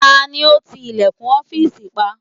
Ta ló ti ilẹ̀kùn ọ́fìsì pa?